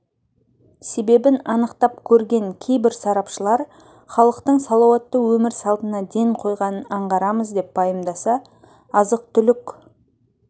себебін анықтап көрген кейбір сарапшылар халықтың салауатты өмір салтына ден қойғанын аңғарамыз деп пайымдаса азық-түлік